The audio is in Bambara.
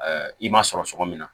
i m'a sɔrɔ cogo min na